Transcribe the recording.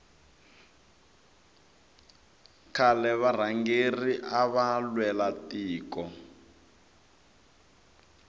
khale varhangeri ava lwela tiko